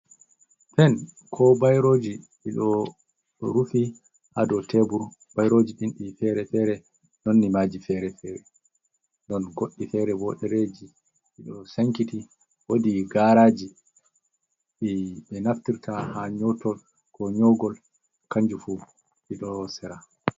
Pen ko bairoji ɗiɗo rufi ha dow tebur, bairoji ɗin ɗi fere-fere, none maji fere fere, ɗon goɗɗi fere bo dereji ɗiɗo sankiti, wodi garaji, ɓe naftirta ha nyotol ko nyogol kanjufu ɗo sera.